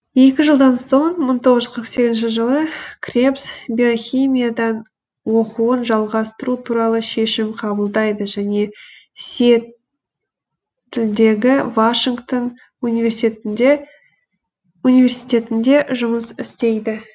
екі жылдан соң мың тоғыз жүз қырық сегізінші жылы кребс биохимиядан оқуын жалғастыру туралы шешім қабылдайды және сиэтлдегі вашингтон университетінде жұмыс істейді